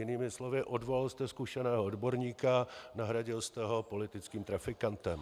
Jinými slovy, odvolal jste zkušeného odborníka, nahradil jste ho politickým trafikantem.